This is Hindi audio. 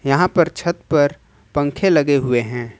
यहां पर छत पर पंखे लगे हुए हैं।